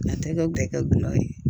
A tɛ kɛ gɛrɛ ye